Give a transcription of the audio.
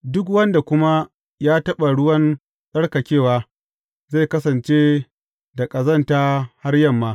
Duk wanda kuma ya taɓa ruwan tsarkakewa, zai kasance da ƙazanta har yamma.